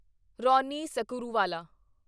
Ronnie Screwvala